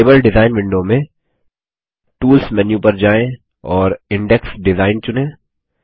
table design window में tools menu पर जाएँ और इंडेक्स डिजाइन चुनें